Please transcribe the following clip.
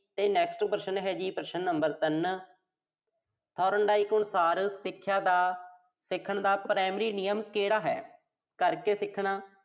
ਫਿਰ next ਪ੍ਰਸ਼ਨ ਹੈ ਜੀ, ਪ੍ਰਸ਼ਨ number ਤਿੰਨ Thorndike ਦੇ ਅਨੁਸਾਰ ਸਿੱਖਿਆ ਦਾ, ਸਿੱਖਣ ਦਾ primary ਨਿਯਮ ਕਿਹੜਾ ਹੈ। ਕਰਕੇ ਸਿੱਖਣਾ